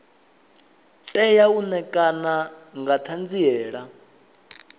tea u ṋekana nga ṱhanziela